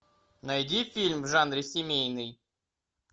найди фильм в жанре семейный